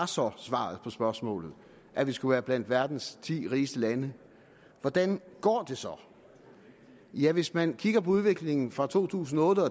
så var svaret på spørgsmålet at vi skulle være blandt verdens ti rigeste lande hvordan går det så ja hvis man kigger på udviklingen fra to tusind og otte